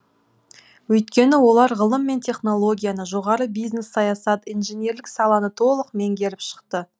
өйткені олар ғылым мен технологияны жоғары бизнес саясат инженерлік саланы толық меңгеріп шықты